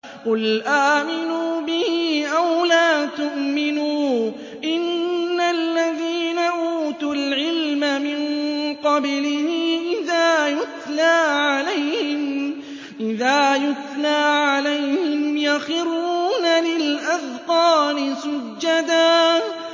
قُلْ آمِنُوا بِهِ أَوْ لَا تُؤْمِنُوا ۚ إِنَّ الَّذِينَ أُوتُوا الْعِلْمَ مِن قَبْلِهِ إِذَا يُتْلَىٰ عَلَيْهِمْ يَخِرُّونَ لِلْأَذْقَانِ سُجَّدًا